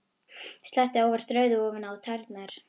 Sletti óvart rauðu ofan á tærnar.